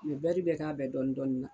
U bɛ bɛɛ k'a bɛɛ dɔɔni dɔɔni na.